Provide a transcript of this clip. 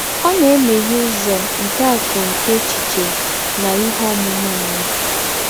Ọ na-emeghe ụzọ nke akụ nke echiche na ihe ọmụma mmadụ. ”